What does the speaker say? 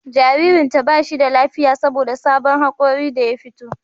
Jaririnta ba shi da lafiya saboda sabon hakori da ya fito